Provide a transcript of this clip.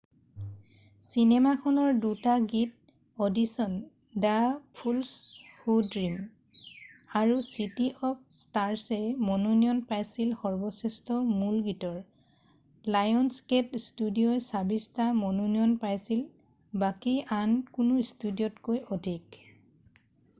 চিনেমাখনৰ ২ টা গীত audition the fools who dream আৰু চিটী অৱ স্টাৰছে মনোনয়ন পাইছিল সৰ্বশ্ৰেষ্ঠ মূল গীতৰ। লায়নছগেট ষ্টুডিঅʼই ২৬টা মনোনয়ন পাইছিল – বাকী আন কোনো ষ্টুডিঅʼতকৈ অধিক।